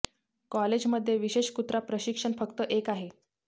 college मध्ये विशेष कुत्रा प्रशिक्षण फक्त एक आहे